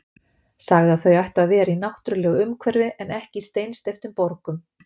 Sagði að þau ættu að vera í náttúrulegu umhverfi en ekki í steinsteyptum borgum.